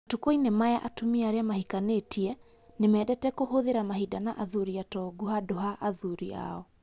Matukũ-inĩ maya atumia arĩa mahikanĩtie nĩ mendete kũhũthĩra mahinda na athuri atongu handũ ha athuri ao.